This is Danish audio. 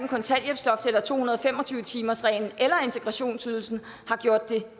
og to hundrede og fem og tyve timersreglen eller integrationsydelsen har gjort det